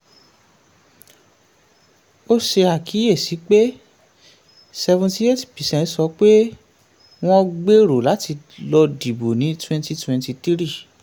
ó ṣe àkíyèsí pé seventy eight percent sọ pé wọ́n gbèrò láti lọ dìbò ní twenty twenty three